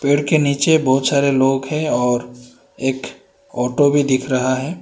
पेड़ के नीचे बहुत सारे लोग हैं और एक ऑटो भी दिख रहा है।